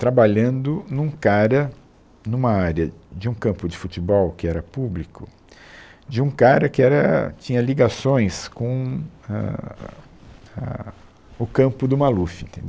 trabalhando num cara, numa área de um campo de futebol que era público, de um cara que era tinha ligações com ahn, a o campo do Maluf. Entendeu